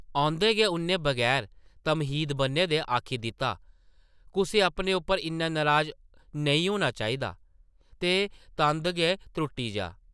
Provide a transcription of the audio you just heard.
औंदे गै उʼन्नै बगैर तम्हीद बʼन्ने दे आखी दित्ता, ‘‘कुसै अपने उप्पर इन्ना नराज नेईं होना चाहिदा जे तंद गै त्रुट्टी जाऽ ।’’